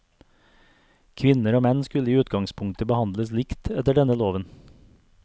Kvinner og menn skulle i utgangspunktet behandles likt etter denne loven.